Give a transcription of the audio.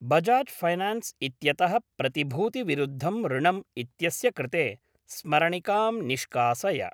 Bajaj finance इत्यतः प्रतिभूतिविरुद्धम् ऋणम् इत्यस्य कृते स्मरणिकां निष्कासय।।